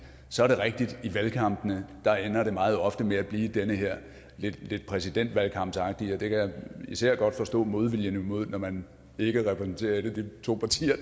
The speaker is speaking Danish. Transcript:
så er det rigtigt at i valgkampene ender det meget ofte med at blive det her lidt præsidentvalgkampsagtige og det kan især godt forstå modviljen imod når man ikke repræsenterer et af de to partier